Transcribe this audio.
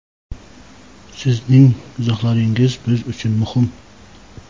Sizning izohlaringiz biz uchun muhim.